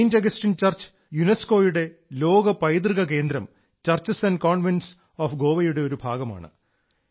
saint Augustine church യുനെസ്കോയുടെ ലോക പൈതൃക കേന്ദ്രം ചർച്ചസ് ആൻഡ് കോൺവെന്റ്സ് ഓഫ് ഗോവയുടെ ഒരു ഭാഗമാണ്